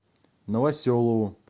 новоселову